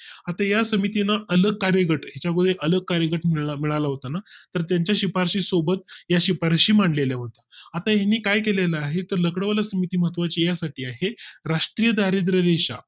आता या समिती ना अलग कार्यगट ह्यांच्यामुळे अलग कार्यगट मिळाला होता ना तर त्यांच्या शिफारशी सोबत या शिफारशी मांडलेल्या होत्या. आता ह्यांनी काय केले ला आहे, तर लकडावाला समिती महत्वाची या साठी आहे, राष्ट्रीय दारिद्र्य रेषा